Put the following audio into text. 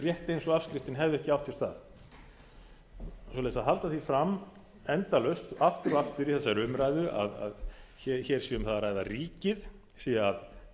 rétt eins og afskriftin hefði ekki átt sér stað svoleiðis að halda því fram endalaust aftur og aftur í þessari umræðu að hér sé um það að ræða að ríkið sé að